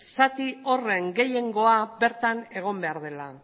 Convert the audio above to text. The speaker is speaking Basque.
zati horren gehiengoa bertan egon behar dela